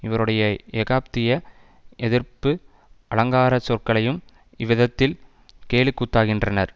இவருடைய எகாதிபத்திய எதிர்ப்பு அலங்கார சொற்களையும் இவ்விதத்தில் கேலிக்கூத்தாக்கினார்